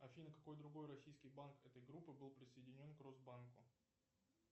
афина какой другой российский банк этой группы был присоединен к росбанку